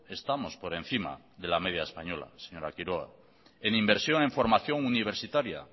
estamos por encima de la media española señora quiroga en inversión en formación universitaria